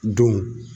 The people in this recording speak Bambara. Don